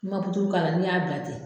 N'i man puturu k'a la n'i y'a bila ten